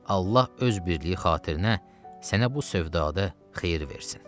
Allah öz birliyi xatirinə sənə bu sövdada xeyir versin.